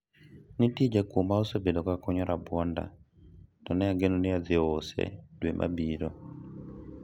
nitie jakuwo ma osebedo ka kunyo rabuonda to ne ageno ni adhi use dwe mabiro